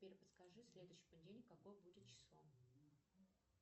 сбер подскажи следующий понедельник какое будет число